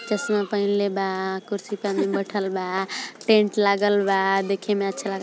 चश्मा पहनले बा। कुर्सी पर आदमी बैठल बा। टेंट लागल बा। देखे में अच्छा --